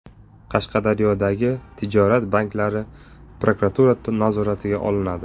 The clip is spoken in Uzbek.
Qashqadaryodagi tijorat banklari prokuratura nazoratiga olinadi.